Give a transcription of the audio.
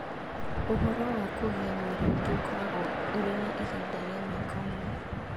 Ũhoro wa kũiga mwĩrĩ ũngĩ ũkoragwo ũrĩ wa ihinda rĩa mwaka ũmwe.